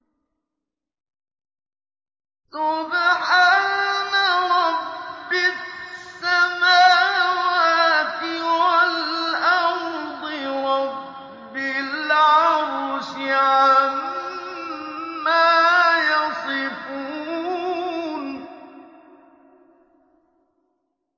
سُبْحَانَ رَبِّ السَّمَاوَاتِ وَالْأَرْضِ رَبِّ الْعَرْشِ عَمَّا يَصِفُونَ